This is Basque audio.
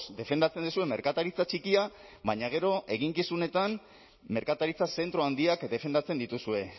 defendatzen duzue merkataritza txikia baina gero eginkizunetan merkataritza zentro handiak defendatzen dituzue